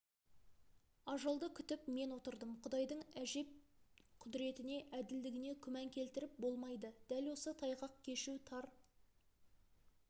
ажалды күтіп мен отырдым құдайдың әжеп құдіретіне әділдігіне күман келтіріп болмайды дәл осы тайғақ кешу тар